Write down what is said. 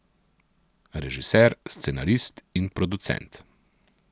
Režiser, scenarist in producent.